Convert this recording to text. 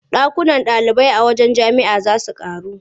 Ɗakunan ɗalibai a wajen jami'a za su ƙaru.